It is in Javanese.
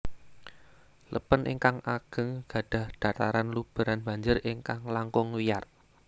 Lèpèn ingkang ageng gadhah dhataran lubèran banjir ingkang langkung wiyar